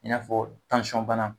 I n'a fɔ tansɔn bana